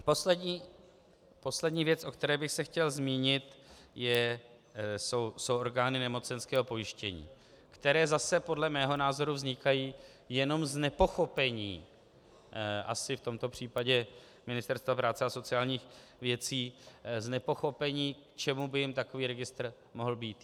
Poslední věc, o které bych se chtěl zmínit, jsou orgány nemocenského pojištění, které zase podle mého názoru vznikají jenom z nepochopení asi v tomto případě Ministerstva práce a sociálních věcí, z nepochopení, k čemu by jim takový registr mohl být.